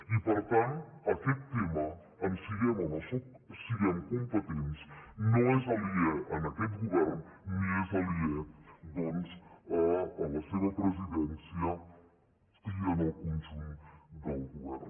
i per tant aquest tema en siguem o no en siguem competents no és aliè a aquest govern ni és aliè doncs a la seva presidència i al conjunt del govern